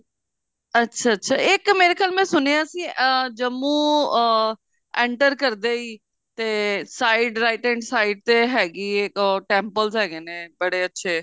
ਅੱਛਾ ਅੱਛਾ ਇੱਕ ਮੇਰੇ ਖਿਆਲ ਮੈਨ ਸੁਣਿਆ ਸੀ ਅਹ ਜੰਮੂ ਅਹ enter ਕਰਦੇ ਹੀ ਤੇ side right hand side ਤੇ ਹੈਗੀ ਐ ਅਹ temples ਹੈਗੇ ਨੇ ਬੜੇ ਅੱਛੇ